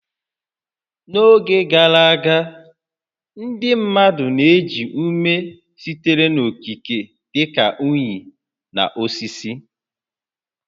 N'oge gara aga, ndị mmadụ na-eji ume sitere n'okike dị ka unyi na osisi